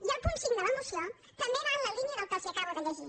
i el punt cinc de la moció també va en la línia del que els acabo de llegir